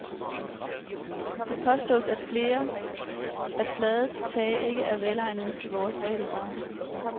Det påstås af flere, at flade tage ikke er velegnede til vores breddegrader.